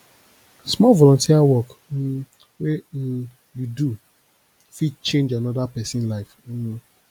small volunteer work um wey um you do fit change anoda pesin life um